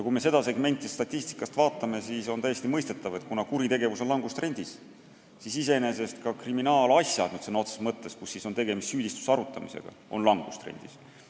Kui me seda segmenti statistikast vaatame, siis on täiesti mõistetav, et kuna kuritegevus on langustrendis, siis iseenesest ka kriminaalasjade arv – nüüd sõna otseses mõttes, kus on tegemist süüdistuse arutamisega – on langustrendis.